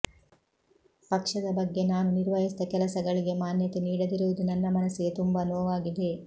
ಪಕ್ಷದ ಬಗ್ಗೆ ನಾನು ನಿರ್ವಹಿಸಿದ ಕೆಲಸಗಳಿಗೆ ಮಾನ್ಯತೆ ನೀಡದಿರುವುದು ನನ್ನ ಮನಸ್ಸಿಗೆ ತುಂಬಾ ನೋವಾಗಿದೆ